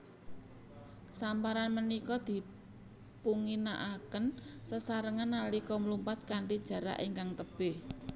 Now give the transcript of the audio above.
Samparan punika dipunginakaken sesarengan nalika mlumpat kanthi jarak ingkang tebih